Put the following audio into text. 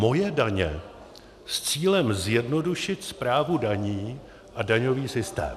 Moje daně s cílem zjednodušit správu daní a daňový systém."